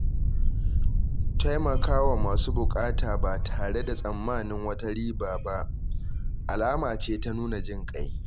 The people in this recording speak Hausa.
Taimaka wa masu bukata ba tare da tsammanin wata riba ba alama ce ta nuna jinƙai.